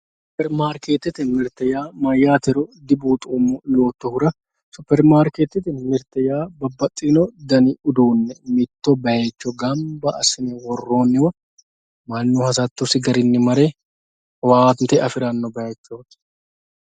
Superimarketete mirte mayatero dibuuxomo yototera supermarketete mirte yaa babaxino dani uduune mitto bayicho ganba asine woroniwa manu hasatosi garini mare owaante afiranowa bayichoti.